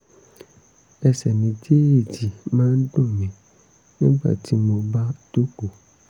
ẹsẹ̀ méjèèjì máa ń dùn mí nígbà tí mo bá jókòó